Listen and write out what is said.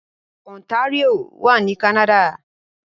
Ontario wà ní Canada